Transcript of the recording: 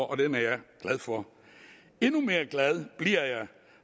og den er jeg glad for endnu mere glad bliver jeg